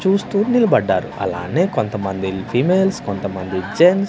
చూస్తూ నిలబడ్డారు అలానే కొంతమంది ఫిమేల్స్ కొంతమంది జెన్స్ .